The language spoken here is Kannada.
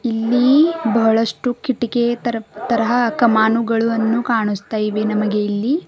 ಇಲ್ಲಿ ಬಹಳಷ್ಟು ಕಿಟಕಿ ತರ ತರಹ ಕಮಾನುಗಳನ್ನು ಕಾಣಿಸ್ತಾ ಇವೆ ನಮಗೆ ಇಲ್ಲಿ.